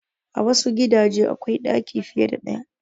A wassu gidaje akwai ɗaki fiye da ɗaya